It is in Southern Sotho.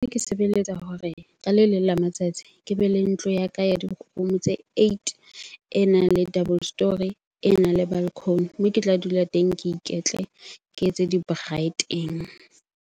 Ke sebeletsa hore ka le leng la matsatsi ke bele ntlo ya ka ya di-room tse eight. E nang le double story, e nang le balcony. ke tla dula teng, ke iketle ke etse di-braai teng.